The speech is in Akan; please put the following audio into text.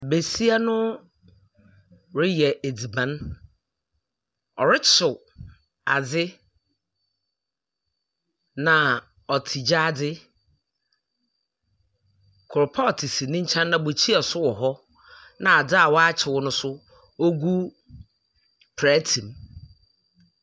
Besia no reyɛ edziban. Ɔrekyew adze, na ɔte gyaadze. Koropɔɔto si ne nkyɛn, bukyia nso wɔ hɔ, na adze a wakyew no nso ɔgu plɛɛtem.